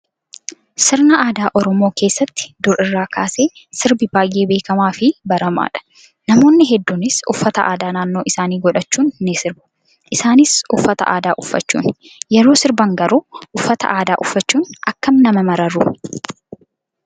Sina aadaa oromoo keessatti dur irraa kaasee sirbi baay'ee beekamaa fi baramaadha. Namoonni hedduunis uffata aadaa naannoo isaanii godhachuun ni sirbu. Isaanis uffata aadaa uffachuuni. Yeroo sirban garuu uffata aadaa uffachuun akkam akka nama mararu